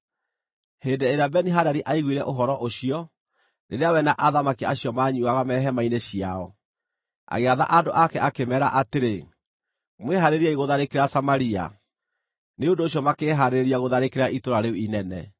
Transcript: Hĩndĩ ĩrĩa Beni-Hadadi aiguire ũhoro ũcio rĩrĩa we na athamaki acio manyuuaga me hema-inĩ ciao, agĩatha andũ ake akĩmeera atĩrĩ, “Mwĩhaarĩriei gũtharĩkĩra Samaria.” Nĩ ũndũ ũcio makĩĩhaarĩria gũtharĩkĩra itũũra rĩu inene.